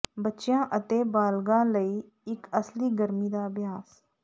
ਬੱਚਿਆਂ ਅਤੇ ਬਾਲਗਾਂ ਲਈ ਇੱਕ ਅਸਲੀ ਗਰਮੀ ਦਾ ਅਭਿਆਸ